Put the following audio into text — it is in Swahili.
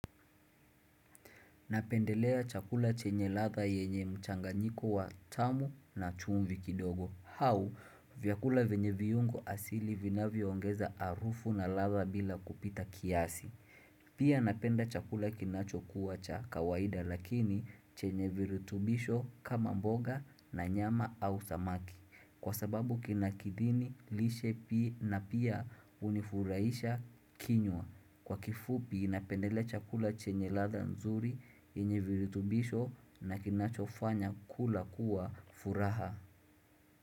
Napendelea chakula chenye ladha yenye mchanganyiko wa tamu na chumvi kidogo au vyakula vyenye viungo asili vinavyo ongeza harufu na ladha bila kupita kiasi. Pia napenda chakula kinacho kuwa cha kawaida lakini chenye virutubisho kama mboga na nyama au samaki. Kwa sababu kinakidhini lishe pia na pia hunifurahisha kinywa. Kwa kifupi napendelea chakula chenye ladha nzuri yenye virutubisho na kinachofanya kula kuwa furaha.